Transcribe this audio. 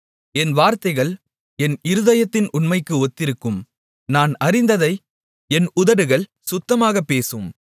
என் வார்த்தைகள் என் இருதயத்தின் உண்மைக்கு ஒத்திருக்கும் நான் அறிந்ததை என் உதடுகள் சுத்தமாக பேசும்